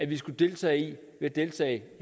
vi skulle deltage i ved at deltage